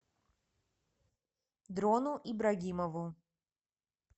дрону ибрагимову